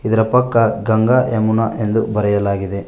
ಇದಿರ ಪಕ್ಕ ಗಂಗಾ ಯಮುನಾ ಎಂದು ಬರೆಯಲಾಗಿದೆ.